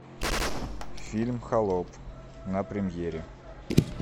фильм холоп на премьере